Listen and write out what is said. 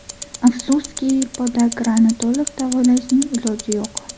Afsuski, podagrani to‘liq davolashning iloji yo‘q.